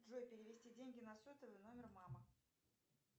джой перевести деньги на сотовый номер мама